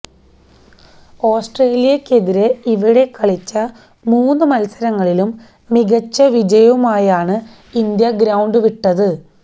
ഓസ്ട്രേലിയക്കെതിരെ ഇവിടെ കളിച്ച മൂന്ന് മത്സരങ്ങളിലും മികച്ച വിജയവുമായാണ് ഇന്ത്യ ഗ്രൌണ്ട് വിട്ടത്